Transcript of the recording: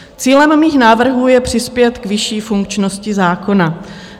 Cílem mých návrhů je přispět k vyšší funkčnosti zákona.